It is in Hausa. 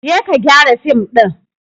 Je ka gyara fim din!